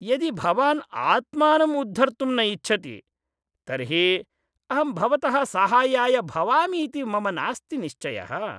यदि भवान् आत्मानं उद्धर्तुं न इच्छति तर्हि अहं भवतः साहाय्याय भवामीति मम नास्ति निश्चयः।